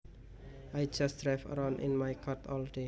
I just drive around in my car all day